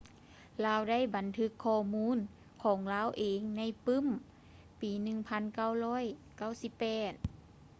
ລາວໄດ້ບັນທຶກຂໍ້ມູນຂອງລາວເອງໃນປື້ມປີ 1998